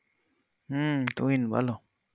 হম Tuhin বল